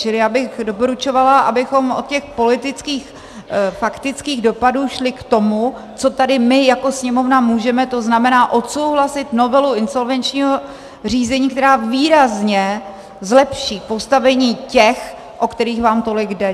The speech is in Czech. Čili já bych doporučovala, abychom od těch politických, faktických dopadů šli k tomu, co tady my jako Sněmovna můžeme, to znamená odsouhlasit novelu insolvenčního řízení, která výrazně zlepší postavení těch, o které vám tolik jde.